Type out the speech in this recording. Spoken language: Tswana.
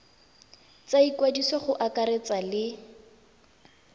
tsa ikwadiso go akaretsa le